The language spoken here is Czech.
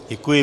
Děkuji.